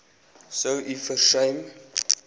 sou u versuim